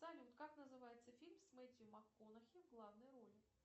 салют как называется фильм с мэттью макконахи в главной роли